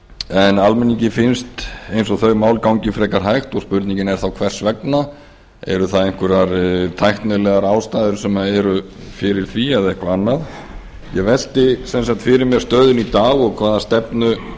en almenningi finnst eins og þau mál gangi frekar hægt og spurningin er þá hvers vegna eru það einhverjar tæknilegar ástæður sem eru fyrir því eða eitthvað annað ég velti sem sagt fyrir mér stöðunni í dag og hvaða stefnu